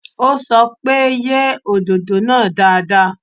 Ó sọ pé, yẹ òdòdó náà dáadáa.